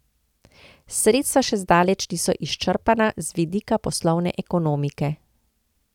Sredstva še zdaleč niso izčrpana, z vidika poslovne ekonomike.